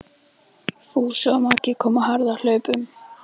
Fúsi og Magga komu á harðahlaupum.